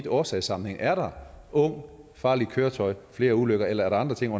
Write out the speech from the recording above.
årsagssammenhængen er der ung farligt køretøj flere ulykker eller er der andre ting